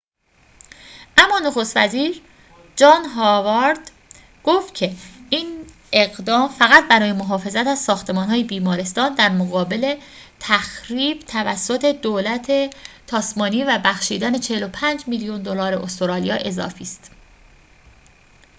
اما نخست وزیر جان هاوارد گفت که این اقدام فقط برای محافظت از ساختمان‌های بیمارستان در مقابل تخریب توسط دولت تاسمانی و بخشیدن ۴۵ میلیون دلار استرالیا اضافی است